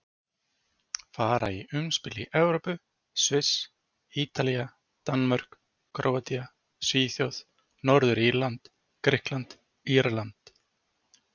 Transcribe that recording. Fara í umspil í Evrópu Sviss Ítalía Danmörk Króatía Svíþjóð Norður-Írland Grikkland Írland